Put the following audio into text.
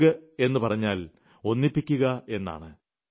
യോഗ് എന്ന് പറഞ്ഞാൽ ഒന്നിപ്പിക്കുക എന്നാണ്